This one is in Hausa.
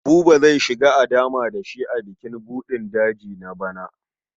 Buba zai shiga a dama da shi a bukin buɗin daji na bana.